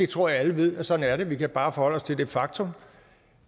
tror at alle ved at sådan er det vi kan bare forholde os til det faktum